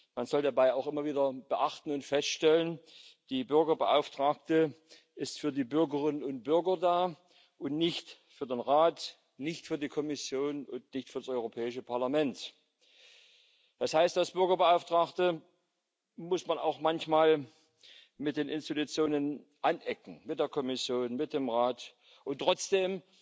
Man soll dabei auch immer wieder beachten und feststellen Die Bürgerbeauftragte ist für die Bürgerinnen und Bürger da und nicht für den Rat, nicht für die Kommission und nicht für das Europäische Parlament. Das heißt, als Bürgerbeauftragte muss man auch manchmal bei den Institutionen anecken, bei der Kommission, beim Rat, und trotzdem